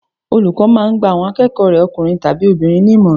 Olùkọ́ máà ń gba àwọn akẹ́kọ̀ọ́ rẹ̀ ọkùnrin tàbi obìnrin ní ìmọ̀ràn